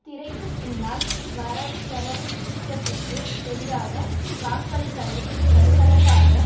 திரைக்கு பின்னால் வரவு செலவு திட்டத்திற்கு எதிராக வாக்களிப்பதைத் தடுப்பதற்காக